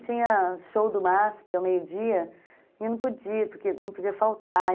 Tinha show do Maspi ao meio-dia e eu não podia, porque não podia faltar.